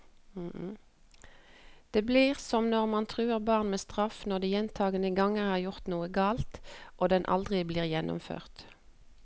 Det blir som når man truer barn med straff når de gjentagende ganger har gjort noe galt, og den aldri blir gjennomført.